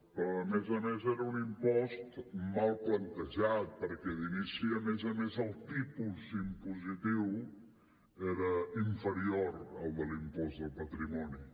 però a més a més era un impost mal plantejat perquè d’inici a més a més el tipus impositiu era inferior al de l’impost del patrimoni